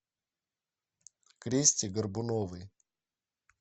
кристе горбуновой